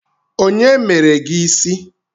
Onye mere gị ịsị?